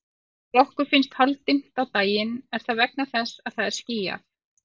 Þegar okkur finnst hálfdimmt á daginn er það vegna þess að það er skýjað.